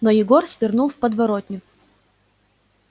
но егор свернул в подворотню